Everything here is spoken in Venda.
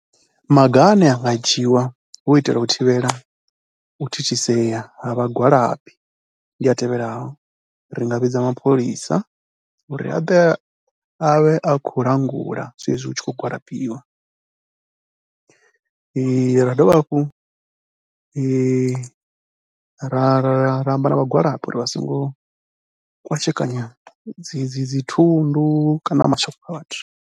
Maga ane a nga dzhiiwa hu u itela u thivhela u thithisea ha vhangwalabi ndi a tevhelaho, ri nga vhidza mapholisa uri a ḓe a vhe a khou langula saizwi hu tshi khou gwalabiwa, ra dovha hafhu ra ra ra amba na vha gwalaba uri vha songo kwashekanya dzi dzi dzi thundu kana mashopo kha a vhathu.